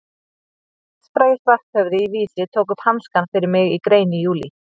Hinn landsfrægi Svarthöfði í Vísi tók upp hanskann fyrir mig í grein í júlí.